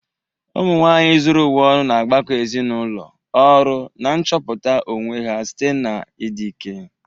Umu nwanyị zuru ụwa ọnụ na-agbakọ ezinụlọ, ọrụ, na nchọpụta onwe ha site n'ịdị ike.